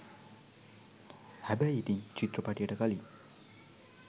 හැබැයි ඉතින් චිත්‍රපටියට කලින්